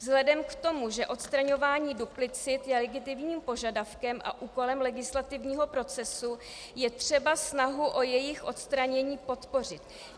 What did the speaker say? Vzhledem k tomu, že odstraňování duplicit je legitimním požadavkem a úkolem legislativního procesu, je třeba snahu o jejich odstranění podpořit.